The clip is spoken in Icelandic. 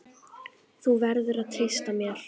Þú verður að treysta mér